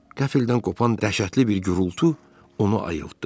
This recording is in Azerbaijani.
Qəfildən qopan dəhşətli bir gurultu onu ayıltdı.